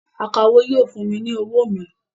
Akawó yóò fún mi ní owó mi